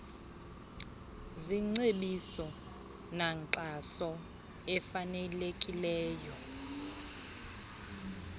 zingcebiso nankxaso ifanelekileyo